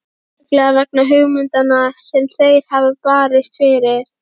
Sérstaklega vegna hugmyndanna sem þeir hafa barist fyrir.